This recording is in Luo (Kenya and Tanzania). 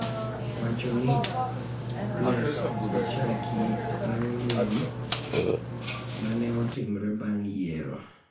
Wacho ni ne ochaki bang’ lweny ma ne otimore bang’ yiero,